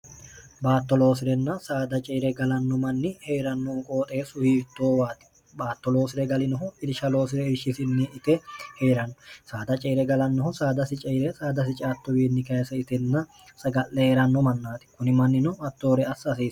baattoloosi'renna saada ceire galanno manni hee'rannoh qooxe suhiirtoowaati baattoloosire galinohu irishaloosire eishshisinni ite hee'ranno saada ceire galannohu saadasi ceire saadasi caattowiinni kayisa itenna saga'le hee'ranno mannaati kuni mannino mattoore assa aseero